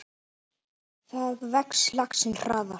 Þar vex laxinn hraðar.